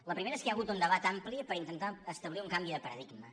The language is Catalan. el primer és que hi ha hagut un debat ampli per intentar establir un canvi de paradigma